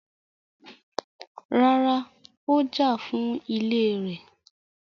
Rárá, Ó jà fún ilẹ̀ rẹ̀.